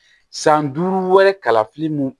San duuru wɛrɛ kalafili mun